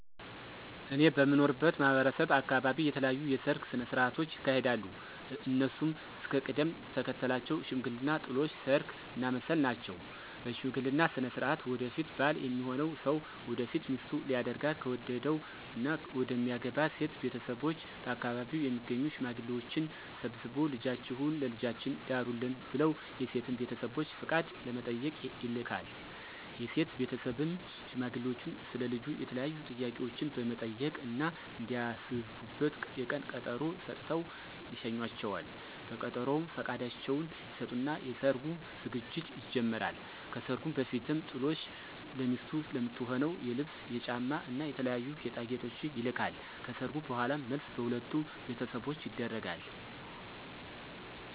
እኔ በምኖርበት ማህበረሰብ አካበቢ የተለያዩ የሰርግ ስነ ሥርዓቶች ይካሄዳሉ። እነሱም እስከ ቅደም ተከተላቸው ሽምግልና፣ ጥሎሽ፣ ሰርግ እና መልስ ናቸው። በሽምግልና ስነ ሥርዓት ወደፊት ባል ሚሆነው ሰው ወደፊት ሚስቱ ሊያደርጋት ከወደደው እና መደሚያገባት ሴት ቤተሰቦች በአከባቢው የሚገኙ ሽማግሌዎችን ሰብስቦ ልጃችሁን ለልጃችን ዳሩልን ብለው የሴትን ቤተሰቦች ፍቃድ ለመጠየቅ ይልካል። የሴት ቤተሰብም ሽማግሌዎቹን ስለ ልጁ የተለያዩ ጥያቄዎችን በመጠየቅ እና እንዲያስቡበት የቀን ቀጠሮ ሰጥተው ይሸኟቸዋል። በቀጠሮውም ፍቃዳቸውን ይሰጡና የሰርጉ ዝግጅት ይጀመራል። ከሰርጉ በፊትም ጥሎሽ ለሚስቱ ለምትሆነው የልብስ፣ የጫማ እና የተለያዩ ጌጣጌጦች ይልካል። ከሰርጉ በኋላም መልስ በሁለቱም ቤተሰቦች ይደረጋል።